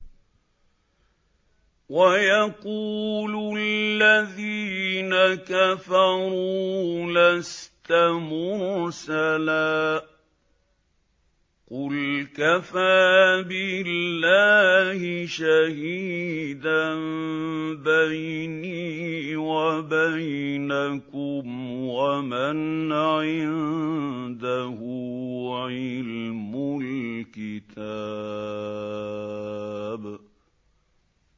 وَيَقُولُ الَّذِينَ كَفَرُوا لَسْتَ مُرْسَلًا ۚ قُلْ كَفَىٰ بِاللَّهِ شَهِيدًا بَيْنِي وَبَيْنَكُمْ وَمَنْ عِندَهُ عِلْمُ الْكِتَابِ